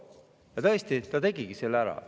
Ja tõesti, ta tegigi selle ära.